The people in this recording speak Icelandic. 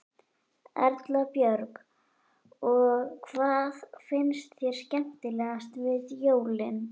Erla Björg: Og hvað finnst þér skemmtilegast við jólin?